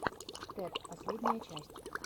тед последняя часть